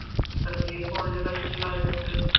വെറുതെ ഫോണിൽ കളിച്ചു കളഞ്ഞിട്ട്